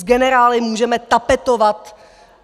S generály můžeme tapetovat!